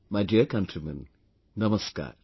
My dear countrymen, Namaskar